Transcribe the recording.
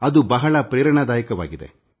ಅದು ಬಹಳ ಸ್ಫೂರ್ತಿದಾಯಕವಾಗಿದೆ